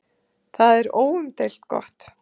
Það er óumdeilt gott.